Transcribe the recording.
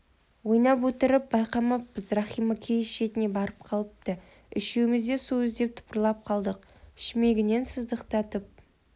ойнап отырып байқамаппыз рахима киіз шетіне барып қалыпты үшеуіміз де су іздеп тыпырлап қалдық шүмегінен сыздықтатып